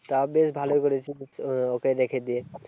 তা বেশ ভালোই করেছিস আহ ওকে রেখে দিয়ে।